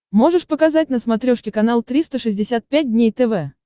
можешь показать на смотрешке канал триста шестьдесят пять дней тв